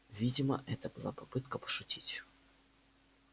видимо это была попытка пошутить